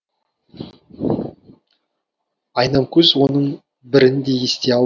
айнамкөз оның бірін де ести алмады